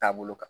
Taabolo kan